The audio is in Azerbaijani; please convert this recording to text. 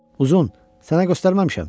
Uzun, sənə göstərməmişəm?